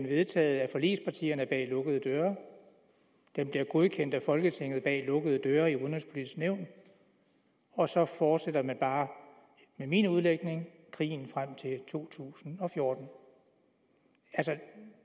vedtaget af forligspartierne bag lukkede døre den bliver godkendt af folketinget bag lukkede døre i udenrigspolitisk nævn og så fortsætter man bare med min udlægning krigen frem til to tusind og fjorten